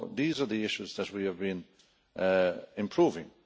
These are the issues that we have been improving.